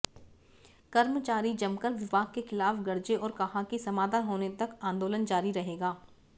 कर्मचारी जमकर विभाग के खिलाफ गरजे और कहा कि समाधान होने तक आंदोलन जारी रहेगा